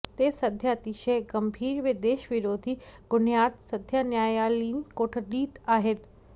ते सध्या अतिशय गंभीर व देशविरोधी गुन्ह्यात सध्या न्यायालयीन कोठडीत आहेत